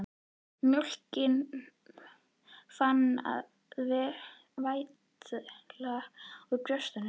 Mjólkin farin að vætla úr brjóstunum.